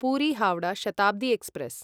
Puri Howrah Shatabdi express